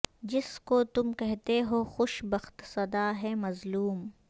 جس کو تم کہتے ہو خوش بخت سدا ہے مظلوم